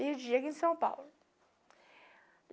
Perdi aqui em São Paulo.